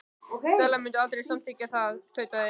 Stella mundi aldrei samþykkja það- tautaði